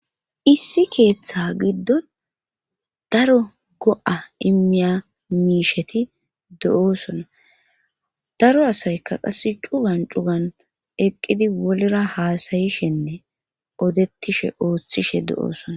issi keeththa giddon daro go7a immiya miisheti do7osona daro asayka qass cugan cugan eqqidi wolera haasayishenne odettishe ooththishe do7oosona